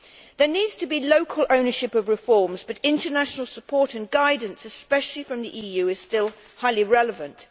There needs to be local ownership of reforms, but international support and guidance especially from the EU is still highly relevant.